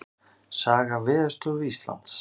Saga Veðurstofu Íslands.